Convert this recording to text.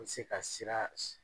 N se ka sira